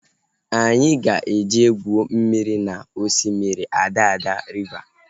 Anyị ga-eje gwuo mmiri na osimiri Adada riva